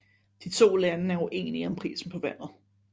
De to lande er ueninge om prisen på vandet